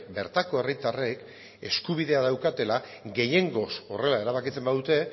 bertako herritarrek eskubidea daukatela gehiengoz horrela erabakitzen badute